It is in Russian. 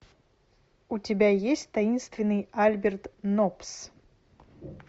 у тебя есть таинственный альберт ноббс